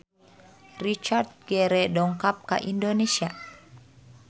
Richard Gere dongkap ka Indonesia